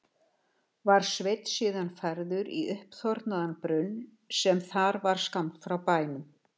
Var Sveinn síðan færður í uppþornaðan brunn sem þar var skammt frá bænum.